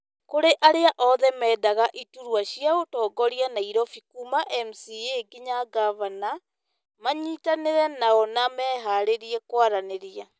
kũrĩ arĩa othe meendaga iturwa cia ũtongoria Nairobi kuuma MCA nginya ngavana , manyitanĩre nao na mĩharĩrie kwaranĩria.